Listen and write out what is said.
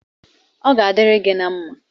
Ọ ga-adiri gị na mma